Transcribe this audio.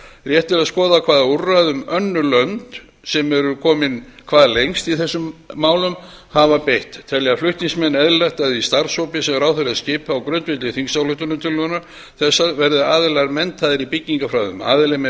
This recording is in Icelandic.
rétt er að skoða hvaða úrræðum önnur lönd sem eru komin hvað lengst í þessum málum hafa beitt telja flutningsmenn eðlilegt að í starfshópi sem ráðherra skipi á grundvelli þingsályktunartillögu þessarar verði aðilar menntaðir í byggingafræðum aðili með